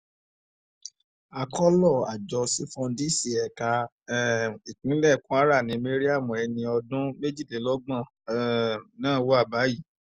akọ́lọ̀ àjọ sífọ́díǹsì ẹ̀ka um ìpínlẹ̀ kwara ni mariam ẹni ọdún méjìlélọ́gbọ̀n um náà wà báyìí